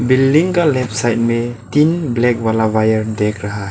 building का left side में तीन ब्लैक वाला वायर देख रहा --